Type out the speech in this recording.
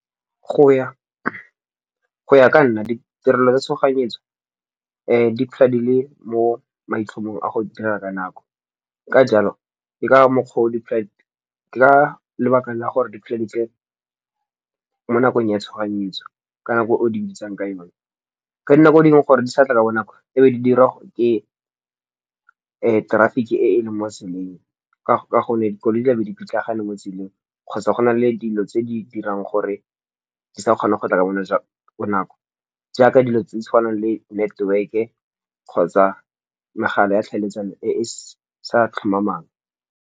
Go ya ka nna ditirelo tsa tshoganyetso di tladile mo maitlhomong a go dira ka nako. Ka jalo, ke ka lebaka la gore di plense mo nakong ya tshoganyetso ka nako o di bitsang ka yone. Ka dinako dingwe gore di sa tla ka bo nako e be di dirwa ke traffic-e e e leng mo tseleng. Ka gonne, dikoloi di tla be di pitlagane mo tseleng kgotsa go na le dilo tse di dirang gore di sa kgona go tla ka bonako. Jaaka dilo tse di tshwanang le network-e kgotsa megala ya tlhaeletsano e e sa tlhomamang.